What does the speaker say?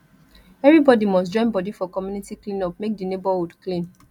everybody must joinbody for community cleanup make di neighborhood clean